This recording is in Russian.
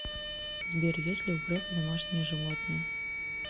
сбер есть ли у грефа домашние животные